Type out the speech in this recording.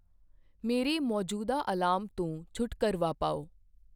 ਮੇਰੇ ਮੌਜੂਦਾ ਅਲਾਰਮ ਤੋਂ ਛੁਟਕਾਰਾ ਪਾਓ।